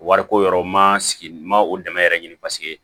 Wariko yɔrɔ ma sigi n ma o dɛmɛ yɛrɛ ɲini paseke